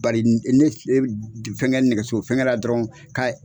Bari ne fɛngɛ nɛgɛso fɛngɛ la dɔrɔn ka